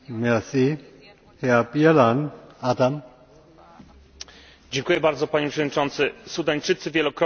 Sudańczycy wielokrotnie już masowo sprzeciwiali się dyktatorskiej władzy ściganego międzynarodowym listem gończym prezydenta al Baszira.